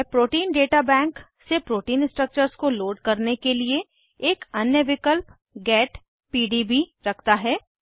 यह प्रोटीन दाता बैंक से प्रोटीन स्ट्रक्चर्स को लोड करने के लिए एक अन्य विकल्प गेट पीडीबी रखता है